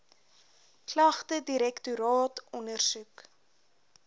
klagte direktoraat ondersoek